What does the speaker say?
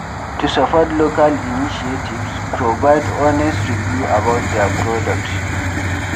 To support local initiatives, provide honest review about their product